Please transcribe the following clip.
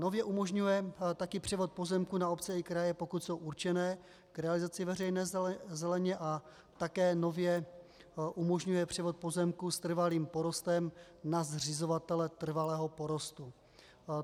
Nově umožňuje také převod pozemků na obce i kraje, pokud jsou určeny k realizaci veřejné zeleně, a také nově umožňuje převod pozemků s trvalým porostem na zřizovatele trvalého porostu.